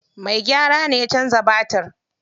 Mai gyara ne ya canza batir.